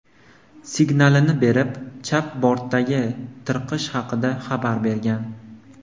signalini berib, chap bortdagi tirqish haqida xabar bergan.